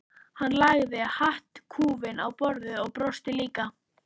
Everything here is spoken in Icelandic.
Hann lagði hattkúfinn á borðið og brosti líka.